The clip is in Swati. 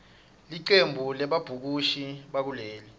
licembu lebabhukushi bakuleli